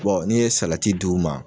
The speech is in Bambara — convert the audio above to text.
n'i ye salati d'u ma